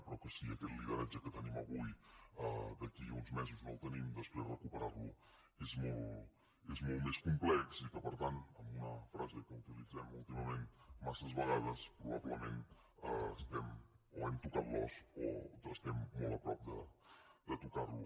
però que si aquest lideratge que tenim avui d’aquí a uns mesos no el tenim després recuperar lo és molt més complex i que per tant amb una frase que utilitzem últimament massa vegades probablement o hem tocat l’os o estem molt a prop de tocar lo